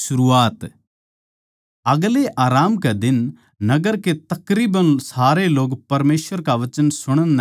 आगलै आराम कै दिन नगर के तकरीबन सारे लोग परमेसवर का वचन सुणण नै कट्ठे हो गये